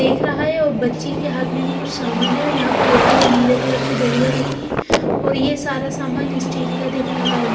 देख रहा है और बच्ची के हाथ में भी कुछ सामान है यहां पर लाल और नीले कलर की डलियां रखी है और ये सारा सामान स्टील का दिख रहा है।